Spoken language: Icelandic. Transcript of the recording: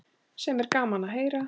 Sem er gaman að heyra.